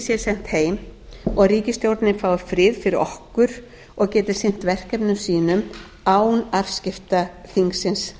sé sent heim og ríkisstjórnin fái frið fyrir okkur og geti sinnt verkefnum sínum án afskipta þingsins